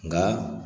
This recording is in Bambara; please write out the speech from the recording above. Nka